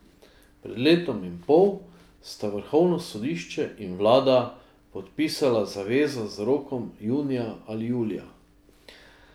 Pred letom in pol sta Vrhovno sodišče in Vlada podpisala zavezo z rokom junija ali julija.